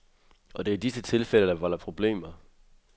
Og det er disse tilfælde, der volder problemer.